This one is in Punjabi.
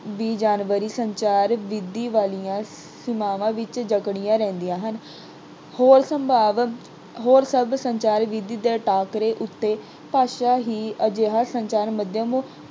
ਦੀ ਜਾਣਕਾਰੀ ਸੰਚਾਰ ਵਿਧੀ ਵਾਲੀਆਂ ਸੀਮਾਵਾਂ ਵਿੱਚ ਜਕੜੀਆਂ ਰਹਿੰਦੀਆਂ ਹਨ। ਹੋਰ ਸੰਭਾਵਿਕ ਹੋਰ ਸਭ ਸੰਚਾਰ ਵਿਧੀ ਦੇ ਟਾਕਰੇ ਉੱਤੇ ਭਾਸ਼ਾ ਹੀ ਅਜਿਹਾ ਸੰਚਾਰ ਮਾਧਿਅਮ